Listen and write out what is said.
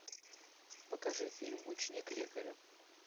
покажи фильм ученик лекаря